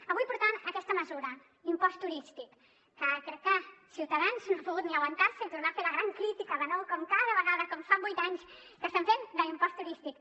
avui portàvem aquesta mesura impost turístic que crec que ciutadans no ha pogut ni aguantar se i tornar a fer la gran crítica de nou com cada vegada com fa vuit anys que estan fent de l’impost turístic